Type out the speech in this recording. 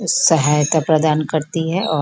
सहायता प्रदान करती है और --